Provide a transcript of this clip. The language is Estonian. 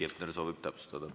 Heiki Hepner soovib täpsustada.